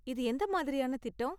இது எந்த மாதிரியான திட்டம்?